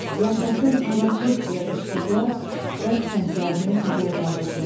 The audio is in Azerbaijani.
Yaşasın azadlıq deyə qışqırdılar və tüfənglərini havaya qaldırdılar.